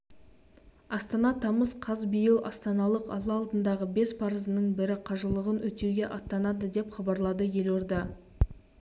астана тамыз қаз биыл астаналық алла алдындағы бес парызының бірі қажылығын өтеуге аттанады деп хабарлады елорда